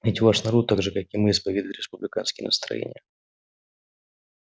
ведь ваш народ так же как и мы исповедует республиканские настроения